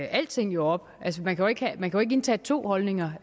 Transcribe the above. alting op altså man kan kan jo ikke indtage to holdninger